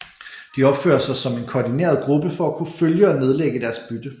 De opfører sig som en koordineret gruppe for at kunne følge og nedlægge deres bytte